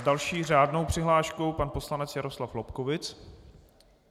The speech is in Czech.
S další řádnou přihláškou pan poslanec Jaroslav Lobkowicz.